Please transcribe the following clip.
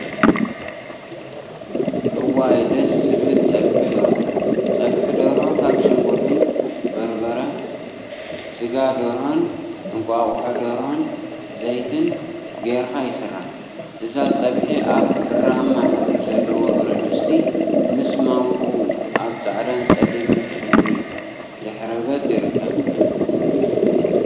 እዋይ ደስ ዝብል ፀብሒ ደርሆ! ፀብሒ ደርሆ ካብ ሽጉርቲ፣ በርበረ፣ ስጋ ደርሆን እንቋቁሖ ደርሆን ዘይትን ገይርካ ይስራሕ፡፡ እዛ ፀብሒ አብ ብራማ ሕብሪ ዘለዎ ብረትድስቲ ምሰ ማንክኡ አብ ፃዕዳን ፀሊምን ሕብሪ ድሕረ ገፅ ይርከብ፡፡